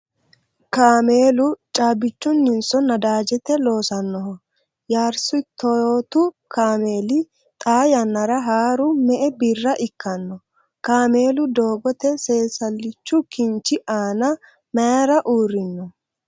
Kaameelu caabbichunninso nadaajete loosannoho ? Yaarisi toyotu kaameeli xaa yannara haaru me''e birra ikkanno ? kaamelu doogote seesallichu kinchi aana mayra uurrino ?